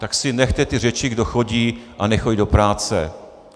Tak si nechte ty řeči, kdo chodí a nechodí do práce.